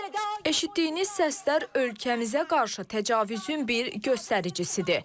Eşitdiyiniz səslər ölkəmizə qarşı təcavüzün bir göstəricisidir.